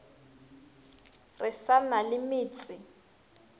re sa na le metse